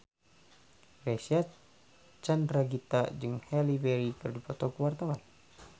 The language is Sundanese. Reysa Chandragitta jeung Halle Berry keur dipoto ku wartawan